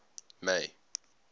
may